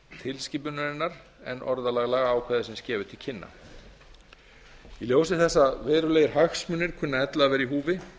tilskipunarinnar en orðalag lagaákvæðisins gefur til kynna í ljósi þess að verulegir hagsmunir kunna ella að vera í húfi